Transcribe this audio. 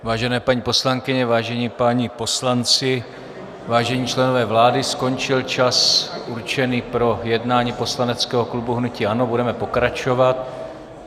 Vážené paní poslankyně, vážení páni poslanci, vážení členové vlády, skončil čas určený pro jednání poslaneckého klubu hnutí ANO, budeme pokračovat.